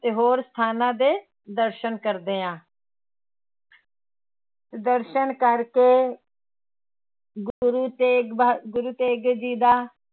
ਤੇ ਹੋਰ ਸਥਾਨਾਂ ਦੇ ਦਰਸ਼ਨ ਕਰਦੇ ਹਾਂ ਦਰਸ਼ਨ ਕਰਕੇ ਗੁਰੂ ਤੇਗ ਬਹਾ ਗੁਰੂ ਤੇਗ ਜੀ ਦਾ